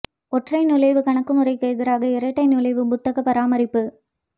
ஒற்றை நுழைவு கணக்கு முறைக்கு எதிராக இரட்டை நுழைவு புத்தக பராமரிப்பு